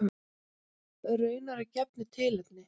Raunar að gefnu tilefni.